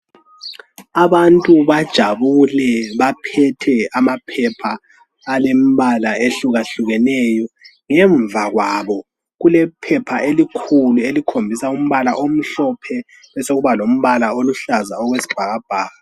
Abantu bajabule baphethe amaphepha alembala ehlukahlukeneyo ngemva kwabo kule phepha elikhulu elikhombisa umbala omhlophe besekuba lombala oluhlaza okwesibhakabhaka.